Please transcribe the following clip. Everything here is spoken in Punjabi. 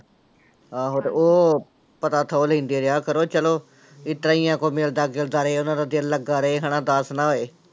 ਆਹੋ ਤੇ ਉਹ ਪਤਾ ਥਹੁ ਲੈਂਦੇ ਰਿਹਾ ਕਰੋ ਚਲੋ, ਇਸ ਤਰ੍ਹਾਂ ਹੀ ਕੋਈ ਮਿਲਦਾ ਜੁਲਦਾ ਰਹੇ ਉਹਨਾਂ ਦਾ ਦਿਲ ਲੱਗਾ ਰਹੇ ਹਨਾ ਉਦਾਸ ਨਾ ਹੋਏ।